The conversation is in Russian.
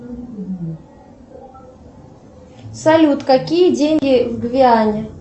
салют какие деньги в гвиане